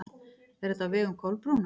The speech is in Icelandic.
Er þetta á vegum Kolbrúnar?